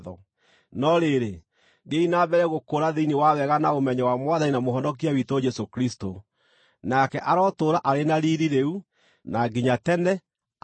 No rĩrĩ, thiĩi na mbere gũkũra thĩinĩ wa wega na ũmenyo wa Mwathani na Mũhonokia witũ Jesũ Kristũ. Nake arotũũra arĩ na riiri rĩu na nginya tene! Ameni.